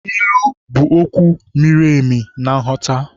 Ilu bụ okwu miri emi na nghọta.